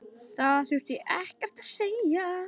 Það þurfti ekkert að segja.